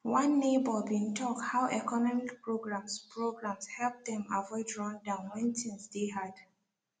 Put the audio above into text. one neighbor bin tok how economic programs programs help dem avoid rundown wen tins deyy hard